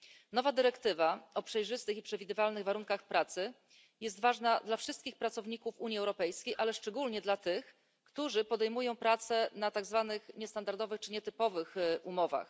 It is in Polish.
Nowa dyrektywa o przejrzystych i przewidywalnych warunkach pracy jest ważna dla wszystkich pracowników Unii Europejskiej, ale szczególnie dla tych, którzy podejmują pracę na podstawie tak zwanych niestandardowych czy nietypowych umów.